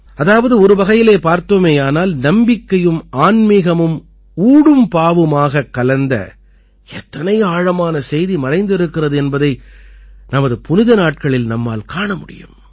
அதாவது ஒருவகையிலே பார்த்தோமேயானால் நம்பிக்கையும் ஆன்மீகமும் ஊடும் பாவுமாகக் கலந்த எத்தனை ஆழமான செய்தி மறைந்திருக்கிறது என்பதை நமது புனித நாட்களில் நம்மால் காண முடியும்